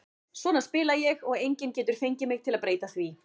Svona spila ég og enginn getur fengið mig til að breyta því.